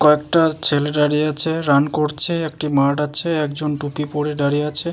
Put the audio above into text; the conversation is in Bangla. কয়েকটা ছেলে দাঁড়িয়ে আছে রান করছেএকটি মাঠ আছেএকজন টুপি পরে দাঁড়িয়ে আছে ।